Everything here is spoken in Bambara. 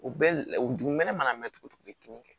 U bɛɛ la u dumunu kɛnɛ mana mɛn cogo min kɛ